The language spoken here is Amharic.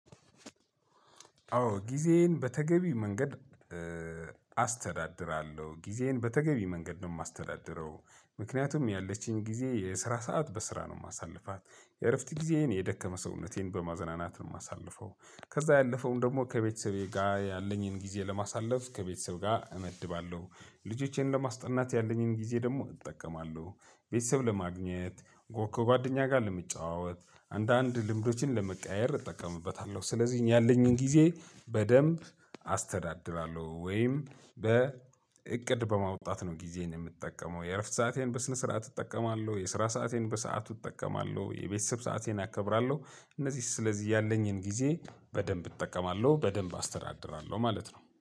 አዎ ጊዜዬን በተገቢ መንገድ አስተዳድራለሁ። ጊዜዬን በተገቢ መንገድ ነው የማስተዳድረው ምክንያቱም ያለችኝ ጊዜ የስራ ሰዓት በስራ ነው የማሳልፋት፣ የእረፍት ጊዜዬን የደከመ ሰውነቴን በማዘናናት ነው የማሳልፈው ከዛ ያለፈውን ደግሞ ከቤተሰቤ ጋር ያለኝን ጊዜ ለማሳለፍ ከቤተሰብ ጋር እመድባለሁ፣ ልጆቼን ለማስጠናት ያለኝን ጊዜ ደግሞ እጠቀማለሁ። ቤተሰብ ለማግኘት ጎ ከጓደኛ ጋር ለመጫወት አንዳንድ ልምዶችን ለመቀያየር እጠቀምበታለሁ ስለዚህ ያለኝን ጊዜ በደንብ አስተዳድራለሁ ወይም በእቅድ በማውጣት ነው ጊዜን የምትጠቀመው የእረፍት ሰአቴን በስነ ስርዓት እጠቀማለሁ፣ የስራ ሰአቴን በሰአቱ እጠቀማለሁ፣ የቤተሰብ ሰአቴን አከብራለሁ እነዚህስ ስለዚህ ያለኝን ጊዜ በደንብ እጠቀማለሁ በደንብ አስተዳድራለሁ ማለት ነው።